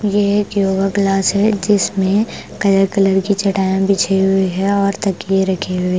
ये एक yoga class है जिसमें कलर कलर की चटाइयां बिछई हुई है और तकीये रखी है ।